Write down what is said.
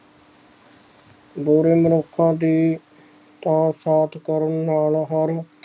ਬੁਰੇ ਮਨੁੱਖਾਂ ਦੀ ਤਾਂ ਸਾਥ ਕਰਨ ਨਾਲ ਹਰ